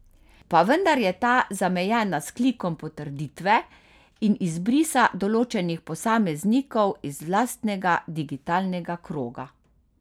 Pa vendar je ta zamejena s klikom potrditve in izbrisa določenih posameznikov iz lastnega digitalnega kroga.